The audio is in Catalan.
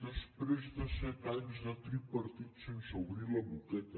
després de set anys de tripartit sense obrir la boqueta